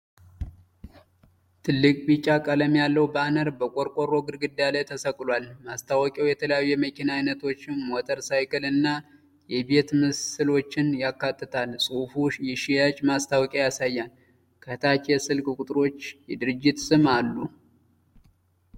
ትልቅ ቢጫ ቀለም ያለው ባነር በቆርቆሮ ግድግዳ ላይ ተሰቅሏል። ማስታወቂያው የተለያዩ የመኪና አይነቶችን፣ ሞተር ሳይክል እና የቤት ምስሎችን ያካትታል። ጽሑፉ የሽያጭ ማስታወቂያ ያሳያል፤ ከታች የስልክ ቁጥሮችና የድርጅቱ ስም አሉ።